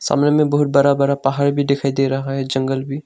सामने में बहुत बड़ा बड़ा पहाड़ भी दिखाई दे रहा है जंगल भी--